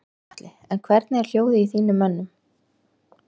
Gunnar Atli: En hvernig er hljóðið í þínum mönnum?